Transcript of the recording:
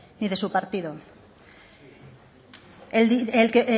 ni de su partido